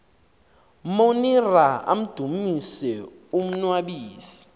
monira amdumise umnnwabisi